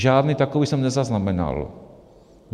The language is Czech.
Žádný takový jsem nezaznamenal.